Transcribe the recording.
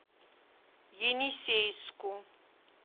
енисейску